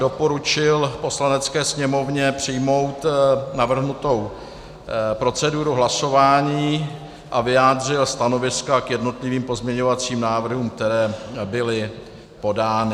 Doporučil Poslanecké sněmovně přijmout navrženou proceduru hlasování a vyjádřil stanoviska k jednotlivým pozměňovacím návrhům, které byly podány.